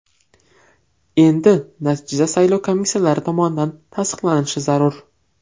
Endi natija saylov komissiyalari tomonidan tasdiqlanishi zarur.